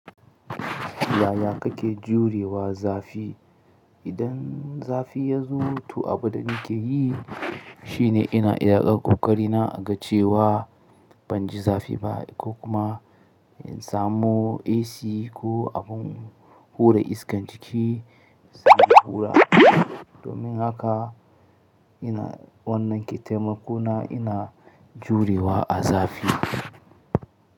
Yaya kake jurewa zafi? Idan zafi ya zo, to abin da nake yi shi ne ina iya ɗan ƙoƙari na a ga cewa ban ji zafi ba ko kuma in samu AC ko abin hura iskan ciki in samu hura. Domin haka ina wannan ke taimako na ina jurewa a zafi.